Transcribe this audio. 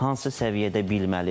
Hansı səviyyədə bilməlidir?